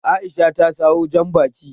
Aisha ta sawo Janbaki